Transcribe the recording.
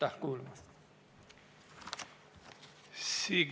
Aitäh kuulamast!